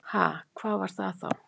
Ha, hvað var það þá?